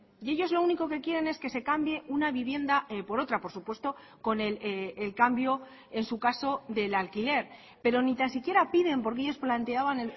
y ellos lo único que quieren es que se cambie una vivienda por otra por supuesto con el cambio en su caso del alquiler pero ni tan siquiera piden porque ellos planteaban